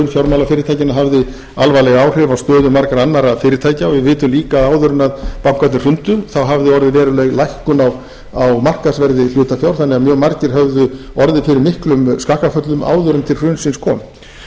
fjármálafyrirtækjanna hafði alvarleg áhrif á stöðu margra annarra fyrirtækja og við vitum líka að áður en bankarnir hrundu þá hafði orðið veruleg lækkun á markaðsverði hlutafjár þannig að mjög margir höfðu orðið fyrir miklum skakkaföllum áður en til hrunsins kom í öðru